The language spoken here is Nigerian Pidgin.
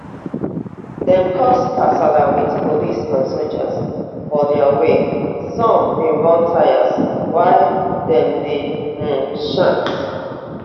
dem cause kasala wit police and soldiers for dia wia some bin burn tyres wia dem dey um chant